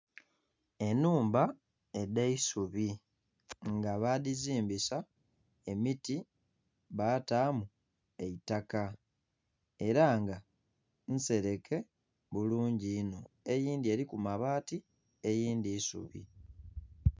Enhumba edh'eisubi nga badizimbisa emiti batamu eitaka era nga nsereke bulungi inho eindhi eriku mabaati eindhi isubi.